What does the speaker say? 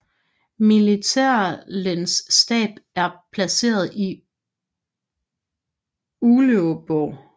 Militærlenets stab er placeret i Uleåborg